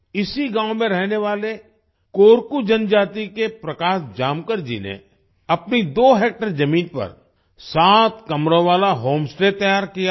इसी गांव में रहने वाले कोरकू जनजाति के प्रकाश जामकर जी ने अपनी दो हेक्टेयर जमीन पर सात कमरों वाला होम स्टे तैयार किया है